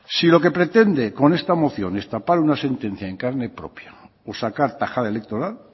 si lo que pretende con esta moción destapar una sentencia en carne propia o sacar tajada electoral